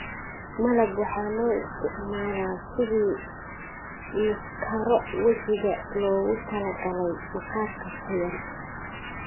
malab waxaa loo isticmaalaa sidii maaskaro wajiga loogu talagalay maqaarka qoyan.